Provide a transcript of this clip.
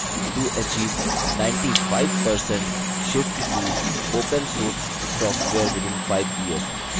to achieve 95% shift to opensource software within 5 years